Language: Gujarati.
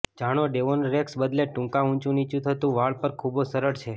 જાણો ડેવોન રેક્સ બદલે ટૂંકા ઊંચુંનીચું થતું વાળ પર ખૂબ સરળ છે